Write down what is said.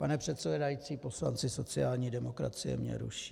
Pane předsedající, poslanci sociální demokracie mě ruší.